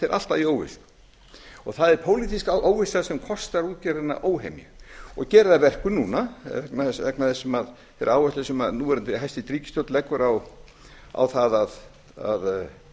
er alltaf í óvissu og það er pólitísk óvissa sem kostar útgerðina óhemju og gerir það að verkum núna vegna þeirrar áherslu sem núverandi hæstvirt ríkisstjórn leggur á það að